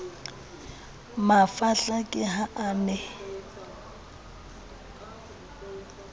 mafahla ke ha a ne